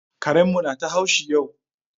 Karen mu na ta haushi yau